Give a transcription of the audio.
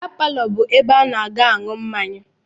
Bịa palọ bụ ebe a na-aga aṅụ mmanya